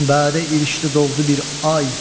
Çün bədə irişdi doğdu bir ay.